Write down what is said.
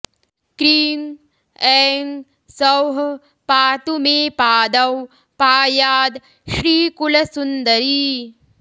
cream ऐं सौः पातु मे पादौ पायाद् श्रीकुलसुन्दरी